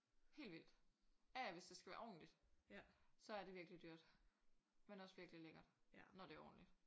Helt vildt. Ja ja hvis det skal være ordentligt så er det virkelig dyrt. Men også virkelig lækkert når det er ordentligt